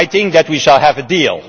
I think that we will have a deal.